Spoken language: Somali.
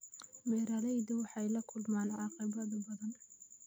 Beeraleydu waxay la kulmaan caqabado badan.